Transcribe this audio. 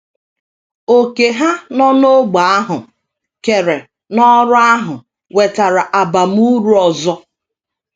Òkè Ha nọ n’ógbè ahụ keere n’ọrụ ahụ wetara abamuru ọzọ.